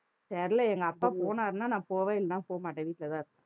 தெரியலே எங்க அப்பா போனாருன்னா நான் போவேன் இல்லைன்னா போ மாட்டேன் வீட்லதான் இருப்பேன்